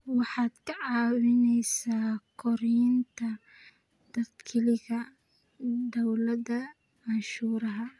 Waxaad ka caawinaysaa kordhinta dakhliga dawladda cashuuraha.